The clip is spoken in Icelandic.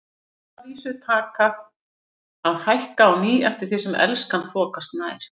Sem að vísu taka að hækka á ný eftir því sem Elskan þokast nær.